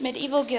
medieval gaels